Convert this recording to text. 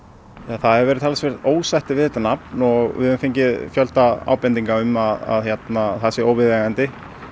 það hefur verið talsvert ósætti við þetta nafn og við fengið fjölda ábendinga um að það sé óviðeigandi